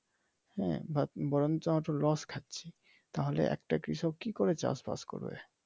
হ্যাঁ বরঞ্চ আমরা তো লস খাচ্ছি তাহলে একটা কৃষক কি করে চাষবাস করবে।